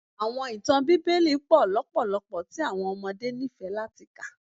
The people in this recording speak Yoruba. Awọn itan Bibeli pọ lọpọlọpọ ti awọn ọmọde nifẹ lati ka.